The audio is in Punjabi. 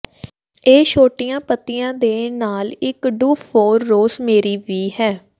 ਇਹ ਛੋਟੀਆਂ ਪੱਤੀਆਂ ਦੇ ਨਾਲ ਇਕ ਡੁੱਫੋਰ ਰੋਸਮੇਰੀ ਵੀ ਹੈ